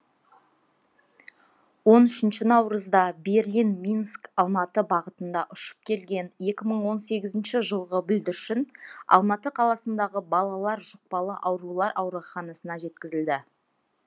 он үшінші наурызда берлин минск алматы бағытында ұшып келген екі мың он сегізінші жылғы бүлдіршін алматы қаласындағы балалар жұқпалы аурулар ауруханасына жатқызылды